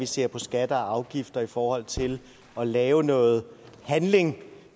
ser på skatter og afgifter i forhold til at lave noget handling